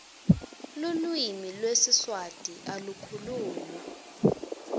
lulwimi lwesiswati alu khulunywa